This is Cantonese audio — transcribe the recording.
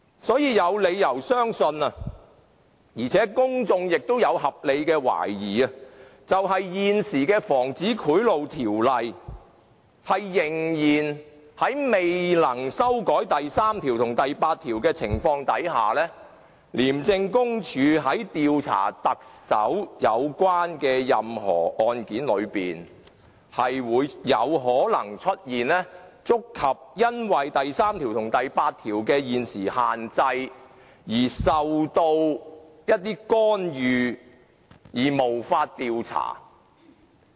所以，我們有理由相信而公眾亦有合理懷疑，在未能修改現時的《防止賄賂條例》第3及第8條的情況之下，廉署在調查牽涉特首的任何案件時，有可能因為觸及現時第3及第8條的限制，以致受到一些干預而無法調查。